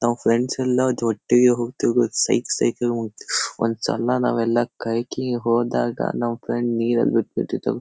ನಾವ್ ಫ್ರೆಂಡ್ಸ್ ಎಲ್ಲಾ ಒಟ್ಟಿಗೆ ಹೋಗತೀವಿ ಸೈಕ್ ಸೈಕ್ ನಂಗ್ ಹೋಗತಿವಿ. ಒಂದ್ಸಲ ನಾವೆಲ್ಲ ಹೋದಾಗ ನಮ್ ಫ್ರೆಂಡ್ ನೀರಲ್ ಬಿದ್ಬಿಟ್ಟಿತ್ತು.